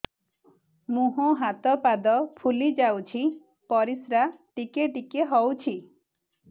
ମୁହଁ ହାତ ପାଦ ଫୁଲି ଯାଉଛି ପରିସ୍ରା ଟିକେ ଟିକେ ହଉଛି